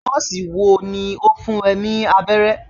Nọ́ọ̀sì wo ló fún ẹ ní abẹ́rẹ́?